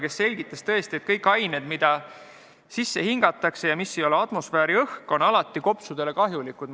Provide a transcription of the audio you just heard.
Meile selgitati, et kõik ained, mida sisse hingatakse ja mis ei ole atmosfääriõhk, on alati kopsudele kahjulikud.